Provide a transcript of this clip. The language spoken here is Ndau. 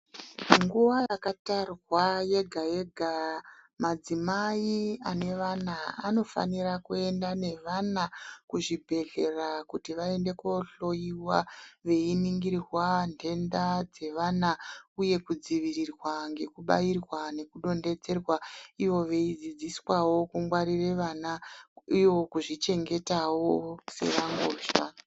Nguwa yakatarwa yega yega madzimai ane vana anofanira kuenda nevana kuzvibhedhlera kuti vaende kohloiwa veiningirwa ntenda dzevana uye kudzivirirwa nekubairwa nekudontedzerwa ivo veidzidziswawo kungwarire vana ivo veidzidziswawo sevangozva.